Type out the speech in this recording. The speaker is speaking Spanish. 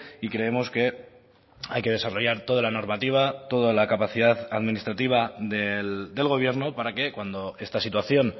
y creemos que hay que desarrollar toda la normativa toda la capacidad administrativa del gobierno para que cuando esta situación